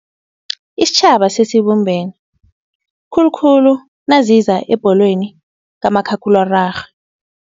Isitjhaba sesibumbene, khulukhulu naziza ebholweni kamakhakhulwararhwe.